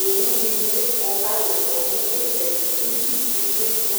owʋ dini bi kɔ kʋ alʋ kɔ nʋ itsɛdi itsʋ dini bi ma